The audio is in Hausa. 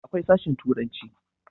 akwai sashen turanci